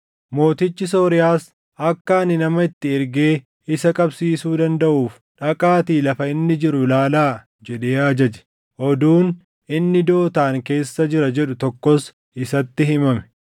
Mootichi Sooriyaas, “Akka ani nama itti ergee isa qabsiisuu dandaʼuuf dhaqaatii lafa inni jiru ilaalaa” jedhee ajaje. Oduun, “Inni Dootaan keessa jira” jedhu tokkos isatti himame.